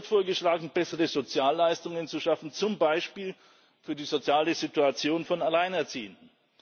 Es wird vorgeschlagen, bessere Sozialleistungen zu schaffen zum Beispiel für die soziale Situation von Alleinerziehenden.